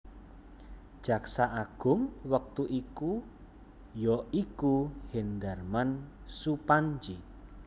Jaksa Agung wektu iki ya iku Hendarman Supandji